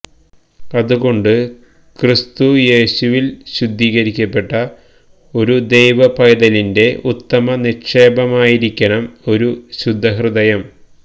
അതുകൊണ്ട് ക്രിസ്തുയേശുവില് ശുദ്ധീകരിക്കപ്പെട്ട ഒരു ദൈവപൈതലിന്റെ ഉത്തമ നിക്ഷേപമായിരിക്കണം ഒരു ശുദ്ധഹൃദയം